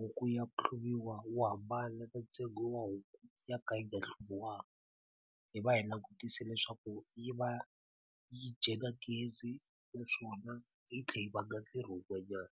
huku ya ku hluriwa wu hambana na ntsengo wa huku ya ka yi nga hluviwanga hi va hi langutise leswaku yi va yi dye gezi naswona yi tlhe yi vanga ntirho wun'wanyana.